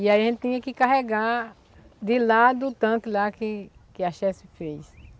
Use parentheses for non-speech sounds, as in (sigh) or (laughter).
E aí a gente tinha que carregar de lá do tanto lá que que a (unintelligible) fez.